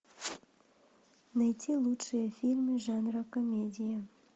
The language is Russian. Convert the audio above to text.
найти лучшие фильмы жанра комедия